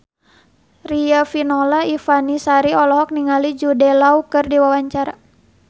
Riafinola Ifani Sari olohok ningali Jude Law keur diwawancara